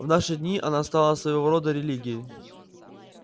в наши дни она стала своего рода религией